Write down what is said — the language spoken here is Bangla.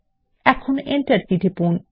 এখন Enter কী টিপুন